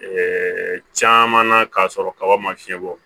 caman na k'a sɔrɔ kaba ma fiɲɛ bɔ